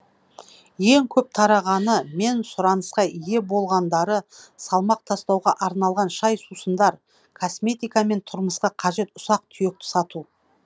ең көп тарағаны мен сұранысқа ие болғандары салмақ тастауға арналған шай сусындар косметика мен тұрмысқа қажет ұсақ түйекті сату